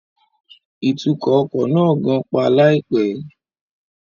Ìtukọ̀ ọkọ̀ náà gan-pa láìpẹ́